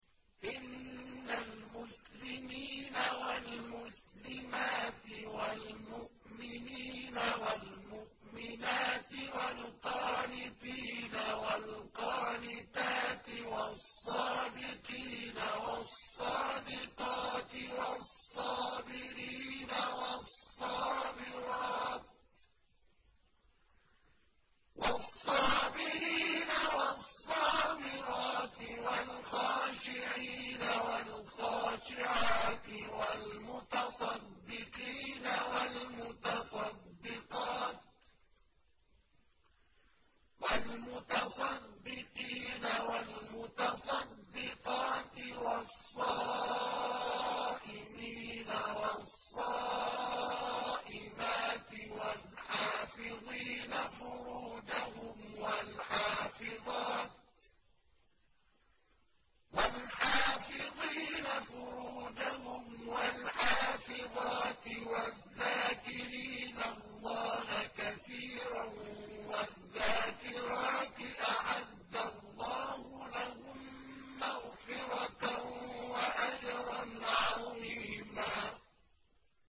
إِنَّ الْمُسْلِمِينَ وَالْمُسْلِمَاتِ وَالْمُؤْمِنِينَ وَالْمُؤْمِنَاتِ وَالْقَانِتِينَ وَالْقَانِتَاتِ وَالصَّادِقِينَ وَالصَّادِقَاتِ وَالصَّابِرِينَ وَالصَّابِرَاتِ وَالْخَاشِعِينَ وَالْخَاشِعَاتِ وَالْمُتَصَدِّقِينَ وَالْمُتَصَدِّقَاتِ وَالصَّائِمِينَ وَالصَّائِمَاتِ وَالْحَافِظِينَ فُرُوجَهُمْ وَالْحَافِظَاتِ وَالذَّاكِرِينَ اللَّهَ كَثِيرًا وَالذَّاكِرَاتِ أَعَدَّ اللَّهُ لَهُم مَّغْفِرَةً وَأَجْرًا عَظِيمًا